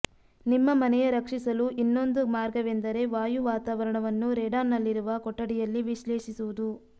ನಿಮ್ಮ ಮನೆಯ ರಕ್ಷಿಸಲು ಇನ್ನೊಂದು ಮಾರ್ಗವೆಂದರೆ ವಾಯು ವಾತಾವರಣವನ್ನು ರೇಡಾನ್ನಲ್ಲಿರುವ ಕೊಠಡಿಯಲ್ಲಿ ವಿಶ್ಲೇಷಿಸುವುದು